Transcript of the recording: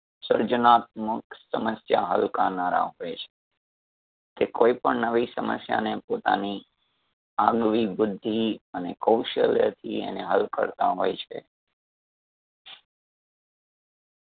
સર્જનાત્મક સમસ્યા હલ કરનારા હોય છે, કે કોઈ પણ નવી સમસ્યા ને પોતાની અવનવી બુદ્ધિ અને કૌશલ્ય થી એને હલ કરતાં હોય છે.